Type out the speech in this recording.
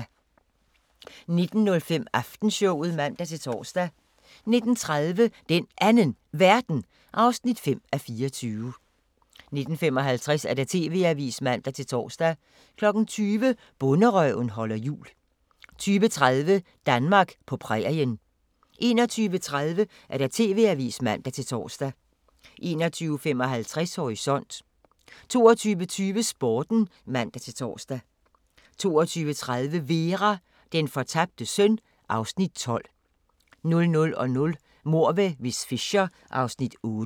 19:05: Aftenshowet (man-tor) 19:30: Den Anden Verden (5:24) 19:55: TV-avisen (man-tor) 20:00: Bonderøven holder jul 20:30: Danmark på prærien 21:30: TV-avisen (man-tor) 21:55: Horisont 22:20: Sporten (man-tor) 22:30: Vera: Den fortabte søn (Afs. 12) 00:00: Mord med miss Fisher (Afs. 8)